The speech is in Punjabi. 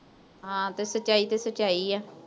ਹਾਂ, ਤੇ ਸੱਚਾਈ ਤਾਂ ਸੱਚਾਈ ਆ।